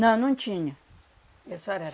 Não, não tinha. E a senhora